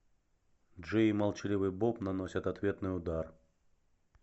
джей и молчаливый боб наносят ответный удар